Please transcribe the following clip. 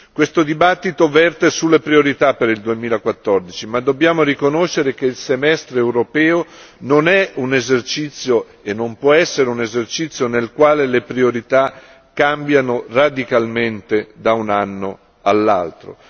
Questo dibattito verte sulle priorità per il 2014, ma dobbiamo riconoscere che il semestre europeo non è un esercizio e non può essere un esercizio nel quale le priorità cambiano radicalmente da un anno all'altro.